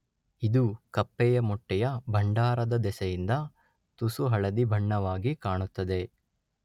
ಇದು ಕಪ್ಪೆಯ ಮೊಟ್ಟೆಯ ಭಂಡಾರದ ದೆಸೆಯಿಂದ ತುಸುಹಳದಿ ಬಣ್ಣವಾಗಿ ಕಾಣುತ್ತದೆ